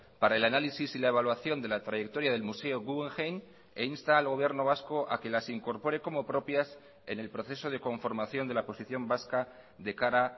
para el análisis y la evaluación de la trayectoria del museo guggenheim e insta al gobierno vasco a que las incorpore como propias en el proceso de conformación de la posición vasca de cara